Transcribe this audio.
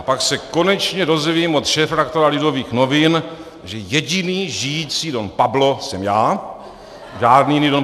A pak se konečně dozvím od šéfredaktora Lidových novin, že jediný žijící Don Pablo jsem já, žádný jiný Don